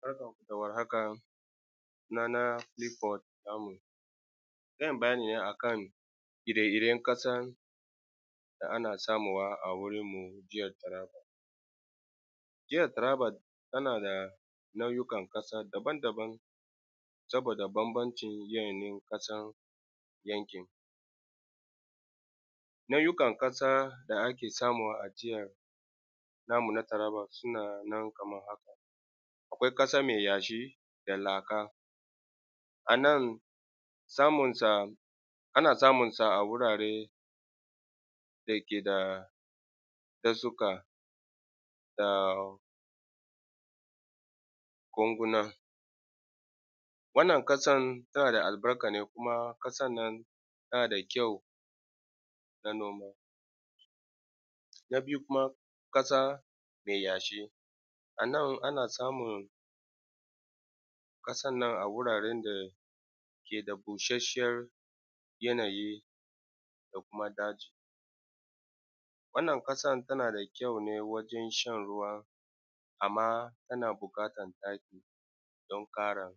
Barkanmu da warhaka sunana Kilifod Lamu zan yi bayni ne akan ire-iren ƙasa da ana samuwa a garin mu jahar Taraba. jahar Taraba tana da launukan ƙasa daban-daban saboda banbancin yanayin ƙasan yankin mu nau’ukan ƙasa da ake ƙasarmu a jiharmu na Taraba sunanan kamar hakaa akwai ƙasa me yashi da laka, a nan zamu ana samunsa a wurare dake da kasuka da konguna wannan ƙasan tana da albarka ne kuma ƙasan nan tana da kyau na noma. Na biyu kuma ƙasa me yashi a nan ana samun ƙasan nan a wurare da yake da bushashiyar yanayi da kuma daji. Wanann ƙasan tana da kyaune wajen shan ruwa amma tana buƙatan taki don kare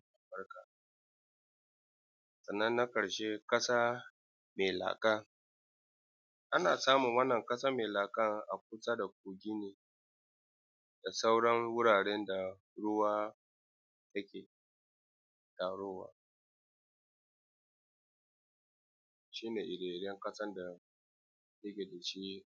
sannan na ƙarshe ƙasa me laka ana samun wannan kasan me laka a kusa da inda nake da sauran wuraren da ruwa yake taruwan ruwa shine fiyayyen kasan da muke da shi.